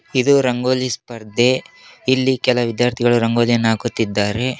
ಇದು ರಂಗೋಲಿ ಸ್ಪರ್ಧೆ ಇಲ್ಲಿ ಕೆಲ ವಿದ್ಯಾರ್ಥಿಗಳು ರಂಗೋಲಿಯನ್ನ ಹಾಕುತ್ತಿದ್ದಾರೆ.